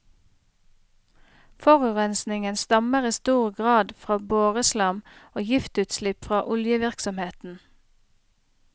Forurensningen stammer i stor grad fra boreslam og giftutslipp fra oljevirksomheten.